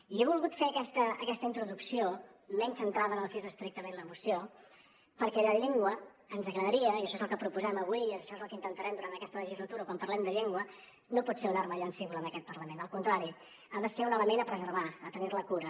i he volgut fer aquesta introducció menys centrada en el que és estrictament la moció perquè la llengua ens agradaria i això és el que proposem avui i això és el que intentarem durant aquesta legislatura quan parlem de llengua no pot ser una arma llancívola en aquest parlament al contrari ha de ser un element a preservar a tenir ne cura